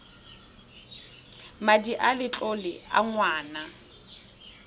madi a letlole a ngwana